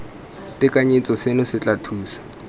tekanyetso seno se tla thusa